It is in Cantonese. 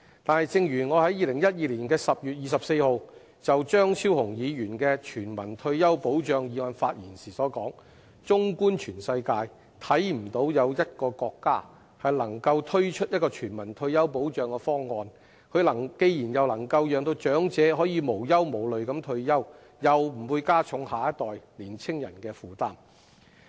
但是，正如我在2012年10月24日就張超雄議員的"全民退休保障制度"議案發言時所說，綜觀全世界，看不到有一個國家能夠推出一項全民退休保障方案，既能夠讓長者可以無憂無慮地退休，又不會加重下一代年青人的負擔。